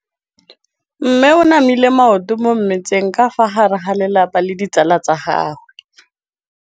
Mme o namile maoto mo mmetseng ka fa gare ga lelapa le ditsala tsa gagwe.